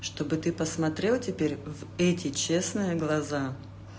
чтобы ты посмотрел теперь в эти честные глаза